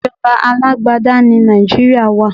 Ìjọba alágbádá ní Nàìjíríà wá.